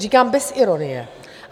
Říkám bez ironie.